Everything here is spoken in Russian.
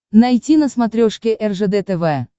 найти на смотрешке ржд тв